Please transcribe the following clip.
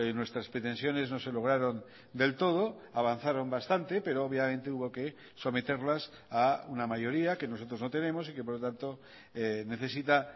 nuestras pretensiones no se lograron del todo avanzaron bastante pero obviamente hubo que someterlas a una mayoría que nosotros no tenemos y que por lo tanto necesita